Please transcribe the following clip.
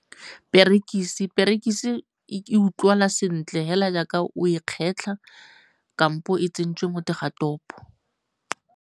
Perekise e utlwala sentle fela jaaka o e kgetlha kampo e tsentswe mo teng ga topo.